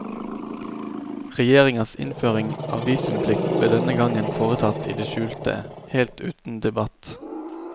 Regjeringas innføring av visumplikt ble denne gangen foretatt i det skjulte, helt uten debatt.